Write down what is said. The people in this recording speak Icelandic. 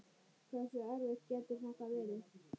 Hversu erfitt getur þetta verið?